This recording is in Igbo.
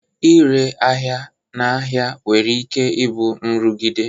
Ịre ahịa n'ahịa nwere ike ịbụ nrụgide